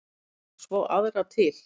Og svo aðra til.